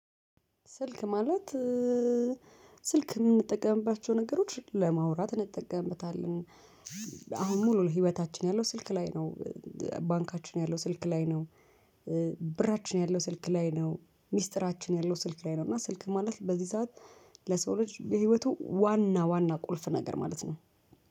ስልክ ማለት ስልክ የምንጠቀምባቸው ነገሮች ለማውራት እንጠቀምበታለን። አሁን ሙሉ ለህይወታችን ያለው ስልክ ላይ ነው። ባንካችን ያለው ስልክ ላይ ነው። ብራችን ያለው ስልክ ላይ ነው ሚስጥራችን ያለው ስልክ ላይ ነው። እና ስልክ ማለት በዚህ ሰዓት ለሰው ልጅ የህይወቱ ዋና ዋና ቁልፍ ነገር ማለት ነው